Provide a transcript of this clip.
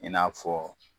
I n'a fɔ